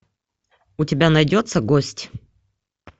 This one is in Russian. у тебя найдется гость